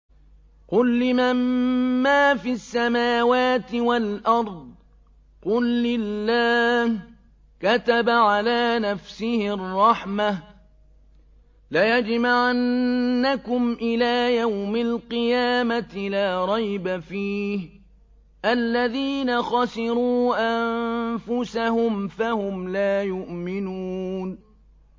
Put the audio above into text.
قُل لِّمَن مَّا فِي السَّمَاوَاتِ وَالْأَرْضِ ۖ قُل لِّلَّهِ ۚ كَتَبَ عَلَىٰ نَفْسِهِ الرَّحْمَةَ ۚ لَيَجْمَعَنَّكُمْ إِلَىٰ يَوْمِ الْقِيَامَةِ لَا رَيْبَ فِيهِ ۚ الَّذِينَ خَسِرُوا أَنفُسَهُمْ فَهُمْ لَا يُؤْمِنُونَ